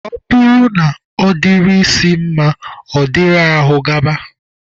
Ọ bụrụ na ọ dịrị isi mma, ọ dịrị agụba